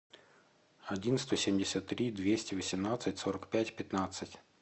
один сто семьдесят три двести восемнадцать сорок пять пятнадцать